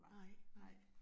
Nej nej